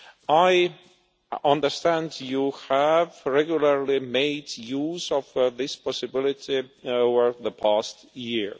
I understand you have regularly made use of this possibility over the past year.